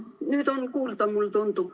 Nüüd on kuulda, mulle tundub.